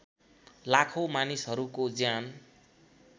लाखौँ मानिसहरूको ज्यान